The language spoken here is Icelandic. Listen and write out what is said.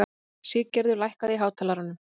Siggerður, lækkaðu í hátalaranum.